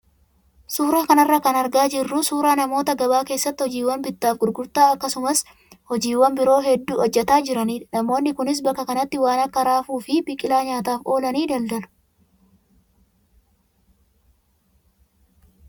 Suuraa kanarraa kan argaa jirru suuraa namoota gabaa keessatti hojiiwwan bittaa fi gurgurtaa akkasumas hojiiwwan biroo hedduu hojjataa jiranidha. Namoonni kunis bakka kanatti waan akka raafuu fi biqilaa nyaataaf oolan daldalu.